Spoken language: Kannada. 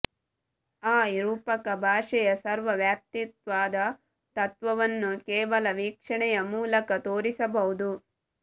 ಆ ರೂಪಕ ಭಾಷೆಯ ಸರ್ವವ್ಯಾಪಿತ್ವದ ತತ್ವವನ್ನು ಕೇವಲ ವೀಕ್ಷಣೆಯ ಮೂಲಕ ತೋರಿಸಬಹುದು